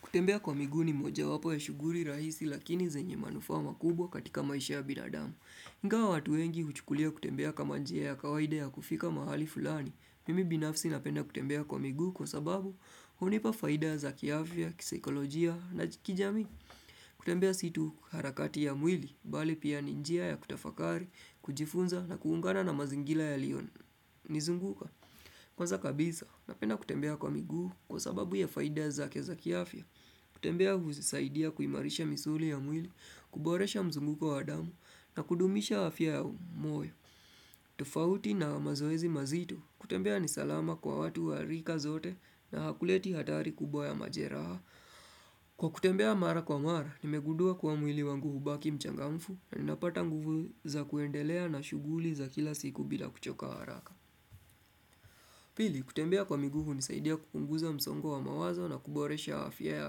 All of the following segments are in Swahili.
Kutembea kwa migu ni moja wapo ya shughuli rahisi lakini yenye manufaa makubwa katika maisha ya binadamu. Ingawa watu wengi huchukulia kutembea kama njia ya kawaida ya kufika mahali fulani, mimi binafsi napenda kutembea kwa miguu kwa sababu hunipa faida za kiafia, kisaikolojia na kijamii. Kutembea situ harakati ya mwili, bali pia ninjia ya kutafakari, kujifunza na kuungana na mazingira yaliyo nizunguka. Kwanza kabisa, napenda kutembea kwa miguu kwa sababu ya faida zake za kiafya. Kutembea huusaidia kuimarisha misuli ya mwili, kuboresha mzunguko wa damu na kudumisha afya ya moyo. Tofauti na mazoezi mazito, kutembea nisalama kwa watu wa rika zote na hakuleti hatari kubwa ya majeraha. Kwa kutembea mara kwa mara, nimegudua kwa mwili wangu hubaki mchangamfu na ninapata nguvu za kuendelea na shuguli za kila siku bila kuchoka haraka. Pili, kutembea kwa miguu hunisaidia kupunguza msongo wa mawazo na kuboresha afya ya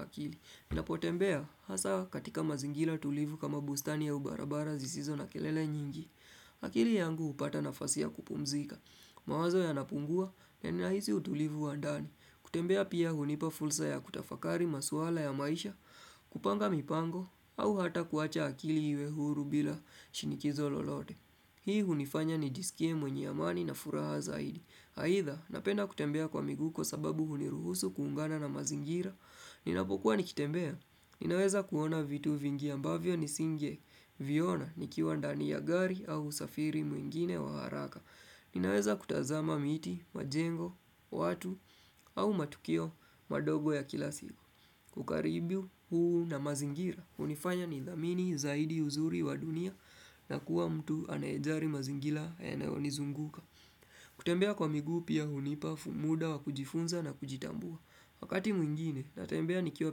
akili. Ninapotembea, hasa katika mazingira tulivu kama bustani au barabara zisizo na kelele nyingi. Akili yangu hupata nafasi ya kupumzika. Mawazo yanapungua, naninahisi utulivu wa ndani. Kutembea pia hunipa fulsa ya kutafakari masuala ya maisha, kupanga mipango, au hata kuacha akili iwe huru bila shinikizo lolote. Hii hunifanya ni jisikie mwenye amani na furaha zaidi. Aitha, napenda kutembea kwa miguu kwa sababu huniruhusu kuungana na mazingira Ninapokuwa nikitembea, ninaweza kuona vitu vingi ambavyo nisinge viona nikiwa ndani ya gari au safiri mwingine wa haraka Ninaweza kutazama miti, majengo, watu au matukio madogo ya kila siku. Ukaribu huu na mazingira, hunifanya nithamini zaidi uzuri wa dunia na kuwa mtu anayejali mazingira yanayo nizunguka kutembea kwa migu pia hunipa muda wa kujifunza na kujitambua. Wakati mwingine natembea nikiwa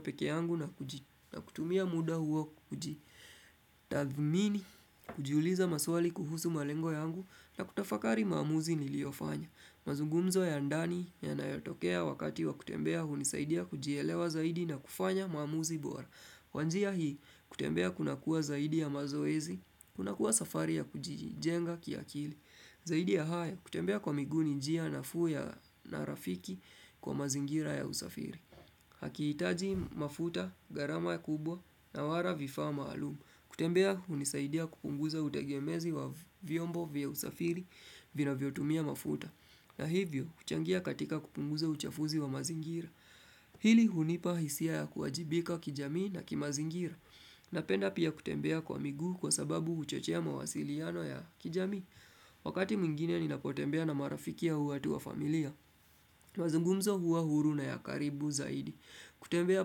peke yangu na huji na kutumia muda huo kujitathmini, Kujuliza maswali kuhusu malengo yangu na kutafakari maamuzi niliyofanya. Mazugumzo ya ndani yanayotokea wakati wa kutembea hunisaidia kujielewa zaidi na kufanya mamuzi bora. Kwanjia hii, kutembea kuna kuwa zaidi ya mazoezi, kuna kuwa safari ya kujijenga kiakili Zaidi ya haya, kutembea kwa migu ninjia nafuu ya na rafiki kwa mazingira ya usafiri. Hakihitaji mafuta, gharama kubwa, na wala vifa maalumu. Kutembea, hunisaidia kupunguza utegemezi wa vyombo vya usafiri vinavyotumia mafuta. Na hivyo, huchangia katika kupunguza uchafuzi wa mazingira. Hili hunipa hisia ya kuwajibika kijamii na kimazingira. Napenda pia kutembea kwa miguu kwa sababu uchochea mawasiliano ya kijami. Wakati mwingine ninapotembea na marafikia au watu wa familia mazungumzo huwa huru na ya karibu zaidi. Kutembea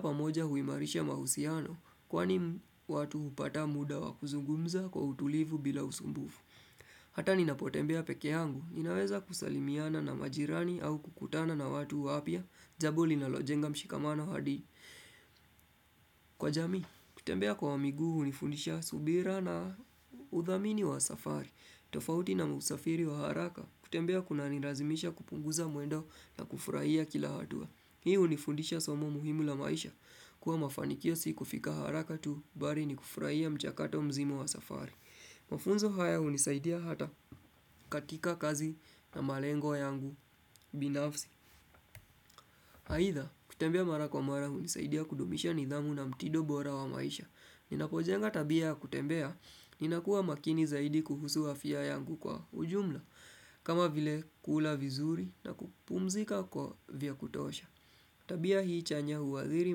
pamoja huimarisha mahusiano, Kwani watu hupata muda wa kuzungumza kwa utulivu bila usumbufu Hata ninapotembea peke yangu Ninaweza kusalimiana na majirani au kukutana na watu wapya Jambo linalojenga mshikamano hadi., Kwa jamii, kutembea kwa miguu hunifundisha subira na udhamini wa safari. Tofauti na usafiri wa haraka, kutembea kunanilazimisha kupunguza mwendo na kufurahia kila hatua. Hii hunifundisha somo muhimu la maisha, kuwa mafanikio si kufika haraka tu bali ni kufurahia mchakato mzimo wa safari. Mafunzo haya hunisaidia hata katika kazi na malengo yangu binafsi. Aidha kutembea mara kwa mara hunisaidia kudumisha nidhamu na mtindo bora wa maisha. Ninapojenga tabia ya kutembea, ninakuwa makini zaidi kuhusu afya yangu kwa ujumla. Kama vile, kula vizuri, na kupumzika kwa kutosha Tabia hii chanya huwaziri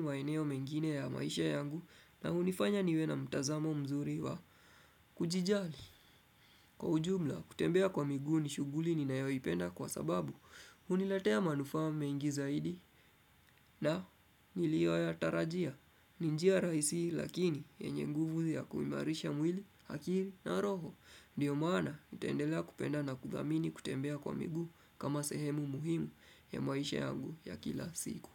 maeneo mengine ya maisha yangu na hunifanya niwe na mtazamo mzuri wa kujijali. Kwa ujumla, kutembea kwa miguu ni shughuli ninayoipenda kwa sababu huniletea manufaa mengi zaidi na niliyoyatarajia ni njia rahisi lakini yenye nguvu ya kuimarisha mwili, akili na roho. Ndio maana nitendelea kupenda na kudhamini kutembea kwa miguu kama sehemu muhimu ya maisha yangu ya kila siku.